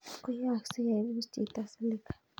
koyaakse ye ipus chhito Silica